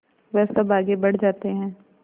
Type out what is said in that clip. वह सब आगे बढ़ जाते हैं